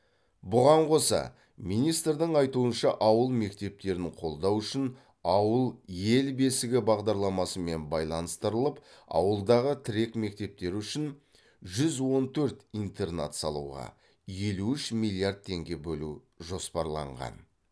бұған қоса министрдің айтуынша ауыл мектептерін қолдау үшін ауыл ел бесігі бағдарламасымен байланыстырылып ауылдағы тірек мектептер үшін жүз он төрт интернат салуға елу үш миллиард теңге бөлу жоспарланған